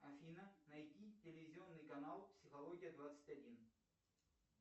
афина найди телевизионный канал психология двадцать один